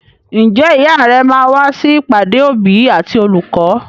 Ǹjẹ́ ìyá rẹ máa wá sí ìpàdé òbí àti olùkọ́?